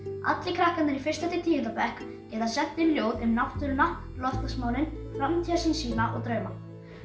allir krakkar í fyrsta til tíunda bekk geta sent inn ljóð um náttúruna loftslagsmálin framtíðarsýn sína og drauma